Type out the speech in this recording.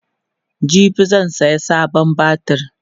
jibi zan saya sabon batir